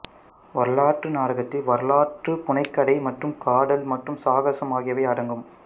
வரலாற்று நாடகத்தில் வரலாற்று புனைகதை மற்றும் காதல் மற்றும் சாகசம் ஆகியவை அடங்கும்